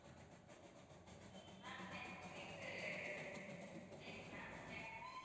ma'am next week உ ten ma'am ten